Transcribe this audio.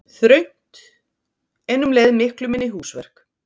Þröngt en um leið miklu minni húsverk